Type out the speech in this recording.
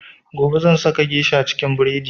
Gobe zan saka geisha cikin buredi